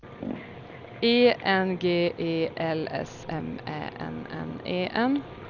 E N G E L S M Ä N N E N